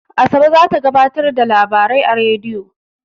Asabe za ta gabatar da labarai a rediyo.